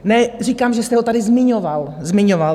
Ne, říkám, že jste ho tady zmiňoval. Zmiňoval.